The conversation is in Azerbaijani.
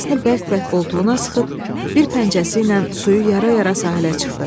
Balasını bərk-bərk qoltuğuna sıxıb bir pəncəsi ilə suyu yara-yara sahilə çıxdı.